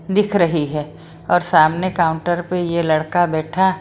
दिख रही है और सामने काउंटर पे यह लड़का बैठा---